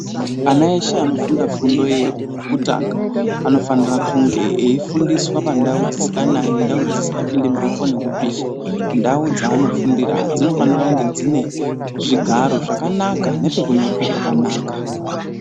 Ana eshe anofunda fundo yekutanga ,anofanira kunge efundiswa pandau dzisinganayi, ndau dzisinga pindi mhepo nekupisha. Ndau dzavanofundira dzinofanira kunge dzine zvigaro zvakanaka nepekunyorera pakanaka.